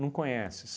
não conheces